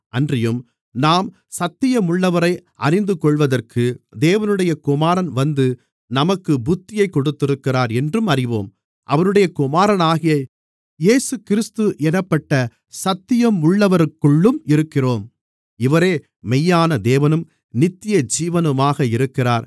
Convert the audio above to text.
அன்றியும் நாம் சத்தியமுள்ளவரை அறிந்துகொள்வதற்கு தேவனுடைய குமாரன் வந்து நமக்கு புத்தியைக் கொடுத்திருக்கிறார் என்றும் அறிவோம் அவருடைய குமாரனாகிய இயேசுகிறிஸ்து என்னப்பட்ட சத்தியமுள்ளவருக்குள்ளும் இருக்கிறோம் இவரே மெய்யான தேவனும் நித்தியஜீவனுமாக இருக்கிறார்